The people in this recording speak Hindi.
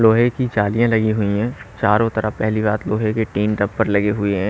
लोहे की जालियां लगी हुई है चारों तरफ पहली बात लोहे के टीन टप्पर लगे हुए है।